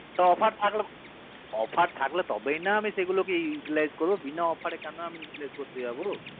offer থাকলে offer থাকলে তবেই না আমি সেগুলোকে italic করবো বিনা offer রে কেন আমি italic করতে যাবো